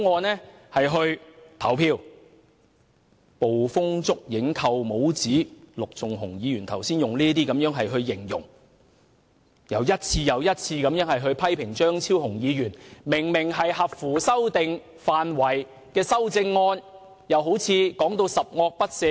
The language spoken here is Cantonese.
陸頌雄議員剛才用"捕風捉影"、"扣帽子"等字眼來形容另一位議員的評論，並一次又一次地批評張超雄議員明明合乎修訂範圍的修正案，說成十惡不赦一般。